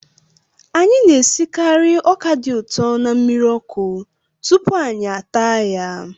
Anyị na-esikarị ọka dị ụtọ na mmiri ọkụ tupu anyị taa ya